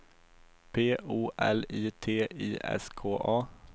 P O L I T I S K A